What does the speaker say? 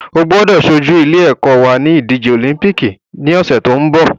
O gbọ́dọ̀ ṣojú ilé ẹ́kọ́ wa ní ìdíje òlíḿpìkì ní ọ̀sẹ̀ tó ń bọ̀